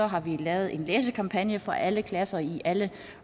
har vi lavet en læsekampagne for alle klasser i alle